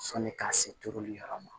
Sɔni ka se turuli yɔrɔ ma